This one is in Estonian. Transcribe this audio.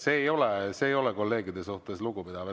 See ei ole kolleegide suhtes lugupidav.